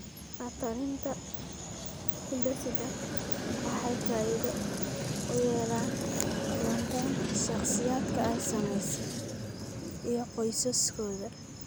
La-talinta hidde-sidaha waxay faa'iido u yeelan doontaa shakhsiyaadka ay saamaysay iyo qoysaskooda.